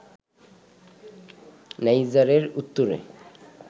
নাইজারের উত্তরে